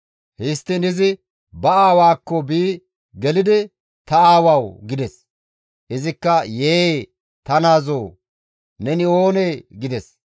Histtiin izi ba aawaakko bi gelidi, «Ta aawawu!» gides. Izikka, «Yee! Ta naazoo! Neni oonee?» gides.